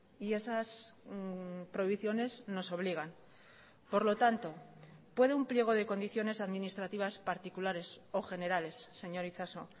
y esas prohibiciones nos obligan por lo tanto puede un pliego de condiciones administrativas particulares o generales señor itxaso